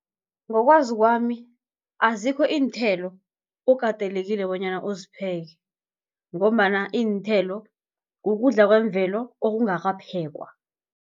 Ngokwazi kwami azikho iinthelo okatelekile bonyana uzipheke, ngombana iinthelo kukudla kwemvelo okungakaphekwa.